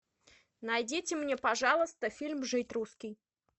найдите мне пожалуйста фильм жить русский